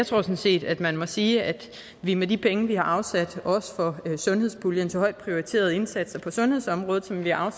sådan set at man må sige at vi med de penge vi har afsat også for sundhedspuljen til højt prioriterede indsatser på sundhedsområdet som vi har